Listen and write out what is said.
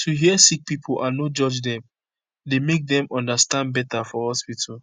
to hear sick pipo and no judge dem dey make dem understand beta for hospitol